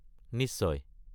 নিশ্চয়।